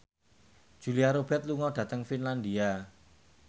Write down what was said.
Julia Robert lunga dhateng Finlandia